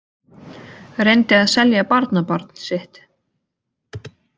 Reyndi að selja barnabarn sitt